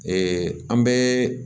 an bɛ